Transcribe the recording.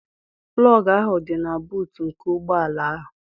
plọg ahụ dị na buut nke ụgbọ ala ahụ